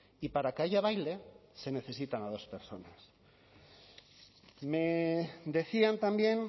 y para que haya baile se necesitan a dos personas me decían también